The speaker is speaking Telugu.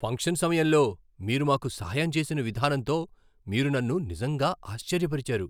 ఫంక్షన్ సమయంలో మీరు మాకు సహాయం చేసిన విధానంతో మీరు నన్ను నిజంగా ఆశ్చర్యపరిచారు!